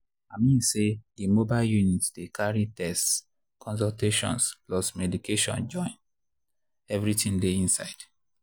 i mean say the mobile units dey carry tests consultations plus medication join — everything dey inside.